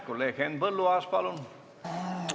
Kolleeg Henn Põlluaas, palun!